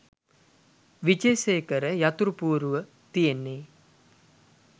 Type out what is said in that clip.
විජේසේකර යතුරු පුවරුව තියෙන්නෙ